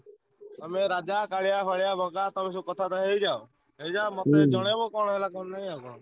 ତମେ ରାଜା, କାଳିଆ ଫାଳିଆ, ବଗା ତମେ ସବୁ କଥାବାର୍ତ୍ତା ହେଇଯାଅ ହେଇଯାଅ ମତେ ଜଣେଇବ କଣ ହେଲା କଣ ନାଇଁ ଆଉ।